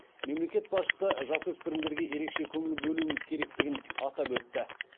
мемлекет басшысы жасөспірімдерге ерекше көңіл бөлуіміз керектігін атап өтті